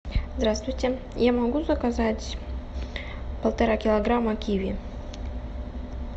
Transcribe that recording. здравствуйте я могу заказать полтора килограмма киви